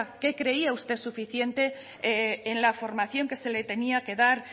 qué creía usted suficiente en la formación que se le tenía que dar